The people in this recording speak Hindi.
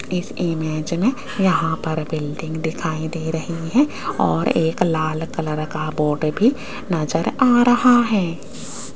इस इमेज में यहां पर बिल्डिंग दिखाई दे रही है और एक लाल कलर का बोर्ड भी नजर आ रहा है।